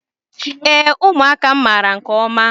Ee, ụmụaka m mara nke ọma